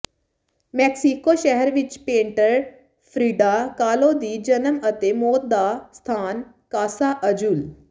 Mexico ਸ਼ਹਿਰ ਵਿਚ painter Frida Kahlo ਦੀ ਜਨਮ ਅਤੇ ਮੌਤ ਦਾ ਸਥਾਨ ਕਾਸਾ ਅਜ਼ੁਲ